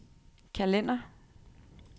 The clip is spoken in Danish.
kalender